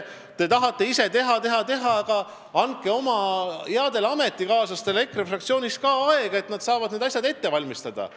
Te tahate ise teha-teha-teha, aga andke oma headele ametikaaslastele EKRE fraktsioonis ka aega, et nad saaksid need asjad ette valmistada.